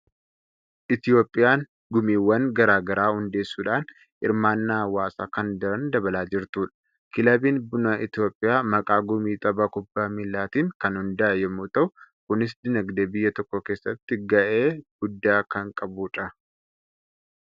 Itoophiyaan gumiiwwan garaa garaa hundeessuudhaan hirmaannaa hawaasaa kan daran dabalaa jirtudha. Kilabiin buna Itoophiyaa maqaa gumii tapha kubbaa miilaatiin kan hundaa'e yommuu ta'u, kunis dinagdee biyya tokkoo keessatti gahee guddaa kan qabudha.